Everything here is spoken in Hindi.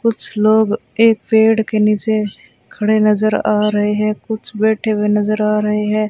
कुछ लोग एक पेड़ के नीचे खड़े नजर आ रहे हैं कुछ बैठे हुए नजर आ रहे हैं।